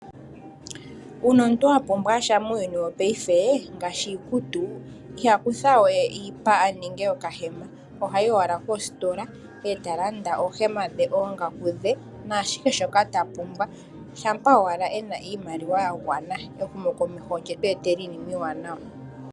Uuna omuntu wa pumbwa sha muuyuni wongaashingeyi ngaashi iikutu aantu ihaya kutha we iipa nenge okahema ohayi owala koositola e ta landa oohema dhe noongaku naashihe shoka ta pumbwa shaa owala e na iimaliwa ya gwangana ehumokomeho olyetu etela iinima iiwanawa.